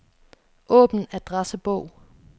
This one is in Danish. Åbn adressebog.